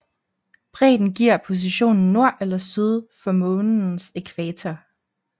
Bredden giver positionen nord eller syd for månens ækvator